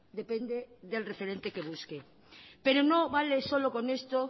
depende del referente que busque pero no vale solo con esto